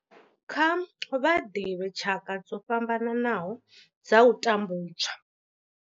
Kha vha ḓivhe tshaka dzo fhambanaho dza u tambudzwa.